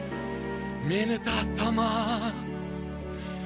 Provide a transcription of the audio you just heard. мені тастама